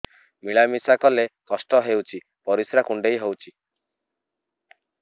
ମିଳା ମିଶା କଲେ କଷ୍ଟ ହେଉଚି ପରିସ୍ରା କୁଣ୍ଡେଇ ହଉଚି